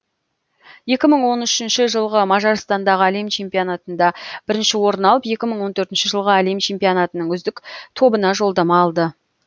екі мың он үшінші жылғы мажарстандағы әлем чемпионатында бірінші орын алып екі мың он төртінші жылғы әлем чемпионатының үздік тобына жолдама алды